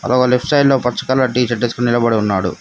ఆ left side లో పచ్చ కలర్ టీ షర్ట్ ఏసుకొని నిలబడి ఉన్నాడు.